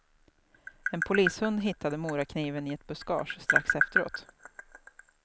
En polishund hittade morakniven i ett buskage strax efteråt.